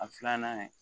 A filanan